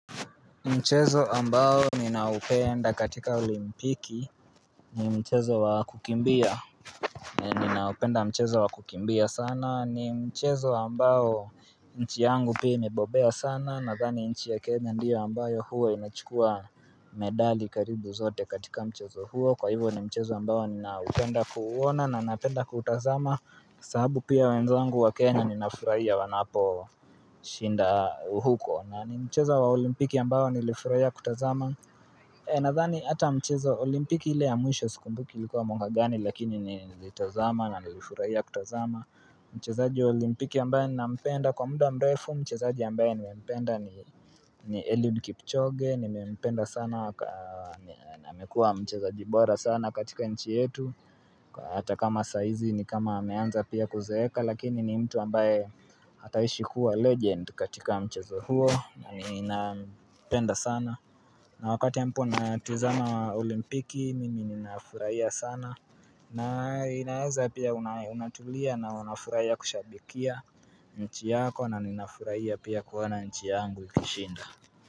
Mchezo ambao ninaupenda katika olimpiki, ni mchezo wa kukimbia, ninaupenda mchezo wa kukimbia sana, ni mchezo ambao nchi yangu pia imebobea sana, nadhani nchi ya Kenya ndiyo ambayo huwa inachukua medali karibu zote katika mchezo huo, kwa hivo ni mchezo ambao ninaupenda kuuona na napenda kutazama, sababu pia wenzangu wa Kenya ninafuraia wanapo shinda huko na ni mchezo wa olimpiki ambao nilifurahia kutazama Nadhani ata mchezo olimpiki ile ya mwisho sikumbuki ilikuwa mwaka gani lakini nilifurahia kutazama Mchezaaji olimpiki ambayo na mpenda kwa muda mrefu mchezaaji ambayo na mpenda ni Eliud Kipchoge nime mpenda sana na amekua mcheza jibora sana katika nchi yetu Kwa hata kama saizi ni kama ameanza pia kuzeeka lakini ni mtu ambaye ataishi kuwa legend katika mchezo huo na wakati ya ambapo natazama olimpiki Mimi ninafuraia sana na inaeza pia unatulia na unafuraia kushabikia nchi yako na ninafuraia pia kuona nchi yangu ikishinda.